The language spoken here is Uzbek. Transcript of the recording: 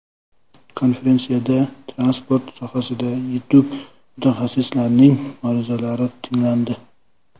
Konferensiyada transport sohasidagi yetuk mutaxassislarning ma’ruzalari tinglandi.